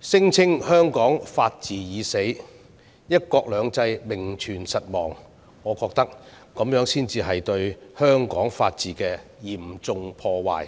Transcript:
聲稱香港"法治已死"、"一國兩制"名存實亡，我覺得這才是對香港法治的嚴重破壞。